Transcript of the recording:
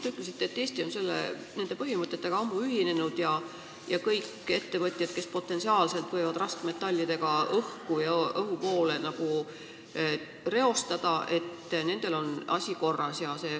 Te ütlesite, et Eesti järgib neid põhimõtteid ammu ja kõigil ettevõtjatel, kes potentsiaalselt võivad raskmetallidega õhku reostada, on asi korras.